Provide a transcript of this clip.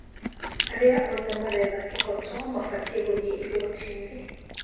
Arĩa othe maretha kĩhoto mabatii gũthiĩ igoti-inĩ